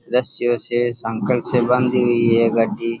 रशि वशी सांकल से बंधी हुई है और गाड़ी --